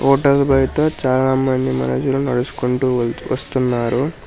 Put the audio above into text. Hotel బైట చాలా మంది మనుషులు నడుచుకుంటూ వస్తున్నారు.